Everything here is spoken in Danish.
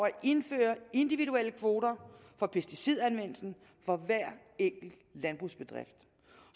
indføre individuelle kvoter for pesticidanvendelsen for hver enkelt landbrugsbedrift